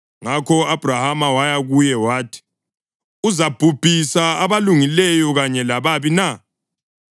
Ngakho u-Abhrahama waya kuye wathi: “Uzabhubhisa abalungileyo kanye lababi na?